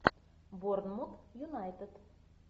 борнмут юнайтед